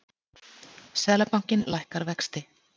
Seðlabankinn lækkar vexti